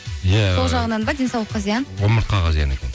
иә сол жағынан ба денсаулыққа зиян омыртқаға зиян екен